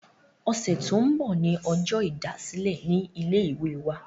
ọ̀sẹ̀ tó ń bọ̀ ní ọjọ́ ìdásílẹ̀ ní ilé ìwé wa